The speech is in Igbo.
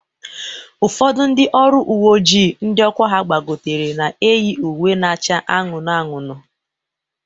Ụfọdụ ndị ọrụ uwe ojii ndị ọkwa ha gbagotere na-eyi uwe na-acha anụnụ anụnụ